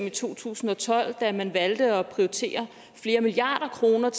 i to tusind og tolv da man valgte at prioritere flere milliarder kroner